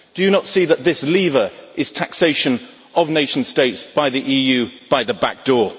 Do you not see that this lever is taxation of nation states by the EU, by the back door?